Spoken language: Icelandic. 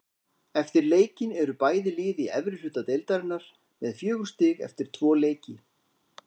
Eftir leikinn eru bæði lið í efri hluta deildarinnar með fjögur stig eftir tvo leiki.